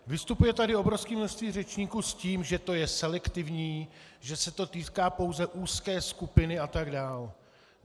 Vystupuje tady obrovské množství řečníků s tím, že to je selektivní, že se to týká pouze úzké skupiny atd.